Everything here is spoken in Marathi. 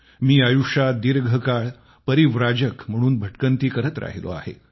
मी आयुष्यात दीर्घकाळ परिव्राजक म्हणून भटकंती करत राहिलो आहे